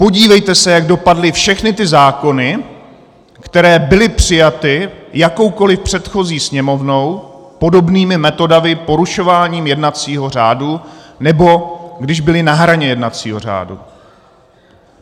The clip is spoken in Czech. Podívejte se, jak dopadly všechny ty zákony, které byly přijaty jakoukoliv předchozí Sněmovnou podobnými metodami, porušováním jednacího řádu, nebo když byly na hraně jednacího řádu.